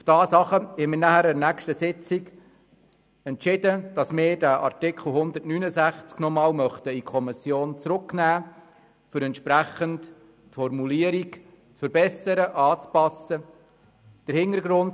Daraufhin entschieden wir in der nächsten Sitzung, dass wir diesen Artikel nochmals in die Kommission zurücknehmen wollen, um die Formulierung entsprechend zu verbessern und anzupassen.